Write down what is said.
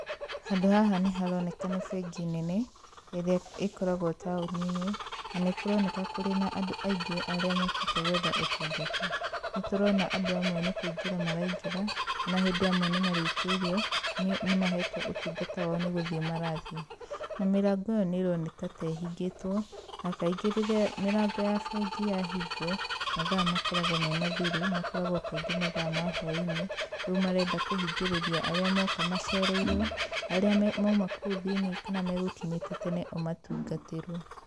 Handũ haha nĩ haroneka nĩ bengi nene, ĩrĩa ĩkoragwo taũni-inĩ, na nĩ kũroneka kũrĩ na andũ aingĩ arĩa mokĩte gwetha ũtungata. Nĩ tũrona andũ amwe nĩ kũingĩra maraingĩra, ona hĩndĩ amwe nĩ marĩkĩirio nĩ mahetwo ũtungata wao nĩ gũthiĩ marathiĩ. Na mĩrango ĩyo nĩ ĩroneka ta ĩhingĩtwo, na kaingĩ rĩrĩa mĩrango ya bengi yahingwo, mathaa makoragwo me mathiru, makoragwo kaingĩ mathaa ma hwai-inĩ, rĩu marenda kũhingĩrĩria arĩa moka macereirwo, arĩa mauma kũu thĩiniĩ kana megũkinyĩte tene o matungatĩrwo.